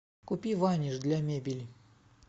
купи ваниш для мебели